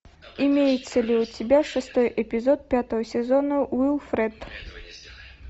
имеется ли у тебя шестой эпизод пятого сезона уилфред